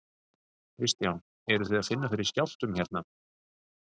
Kristján: Eruð þið að finna fyrir skjálftum hérna?